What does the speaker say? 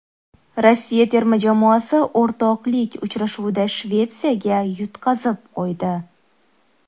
Rossiya terma jamoasi o‘rtoqlik uchrashuvida Shvetsiyaga yutqazib qo‘ydi.